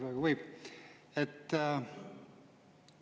Kas võib?